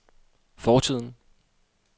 fortiden